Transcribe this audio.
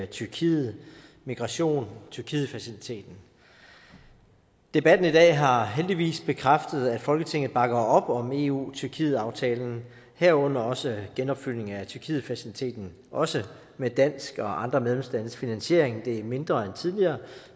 tyrkiet migration og tyrkietfaciliteten debatten i dag har heldigvis bekræftet at folketinget bakker op om eu tyrkiet aftalen herunder også genopfyldningen af tyrkietfaciliteten også med dansk og andre medlemslandes finansiering det er mindre end tidligere